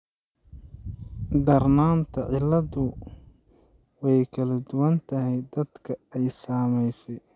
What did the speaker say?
Darnaanta cilladdu way kala duwan tahay dadka ay saamaysay.